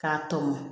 K'a tɔmɔ